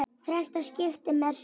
Þrennt skipti mestu.